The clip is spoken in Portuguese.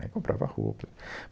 Aí comprava roupa.